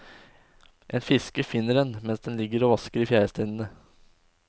En fisker finner den mens den ligger og vasker i fjæresteinene.